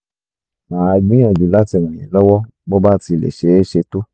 màá gbìyànjú láti ràn yín lọ́wọ́ bó bá ti lè ṣeé ṣe tó